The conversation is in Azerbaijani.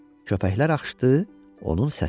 Köpəklər axışdı onun səsinə.